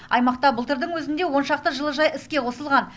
аймақта былтырдың өзінде он шақты жылыжай іске қосылған